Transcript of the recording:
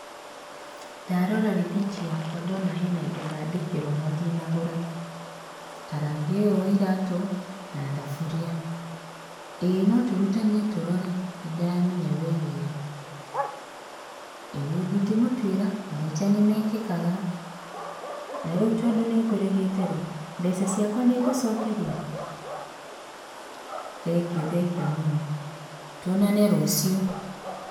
Ndarora rĩthiti yakwa ndona he na indo ndandĩkĩrwo na ndinagũra, ta rangi ũyũ wa iratũ na thaburia. Ĩĩ no turutanie tũrore nĩndĩramenya wĩ wĩra, ĩ ndingĩmũtuĩra mahĩtia nĩmekĩkaga na rĩu tondũ nĩ ngũrĩhĩte ĩ, mbeca ciakwa nĩ ngũcokerio? Thengiũ thengiũ mũno, tuonane rũciũ.